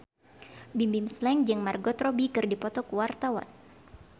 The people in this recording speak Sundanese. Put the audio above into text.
Bimbim Slank jeung Margot Robbie keur dipoto ku wartawan